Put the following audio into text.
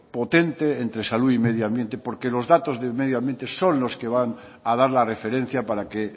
potente entre salud y medio ambiente porque los datos de medio ambiente son los que van a dar la referencia para que